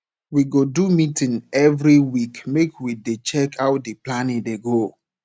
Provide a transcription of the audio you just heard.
we go do meeting every week make we dey check how di planning dey go